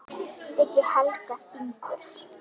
Siggi Helga: Syngur?